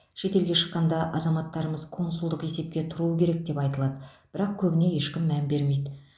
шетелге шыққанда азаматтарымыз консулдық есепке тұруы керек деп айтылады бірақ көбіне ешкім мән бермейді